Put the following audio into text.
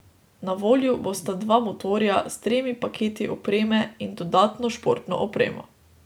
Na voljo bosta dva motorja, s tremi paketi opreme in dodatno športno opremo.